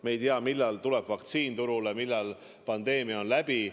Me ei tea, millal tuleb vaktsiin turule, millal pandeemia on läbi.